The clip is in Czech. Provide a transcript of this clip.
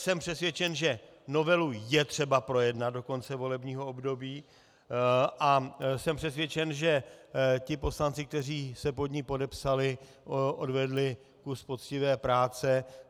Jsem přesvědčen, že novelu je třeba projednat do konce volebního období, a jsem přesvědčen, že ti poslanci, kteří se pod ní podepsali, odvedli kus poctivé práce.